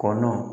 Kɔnɔ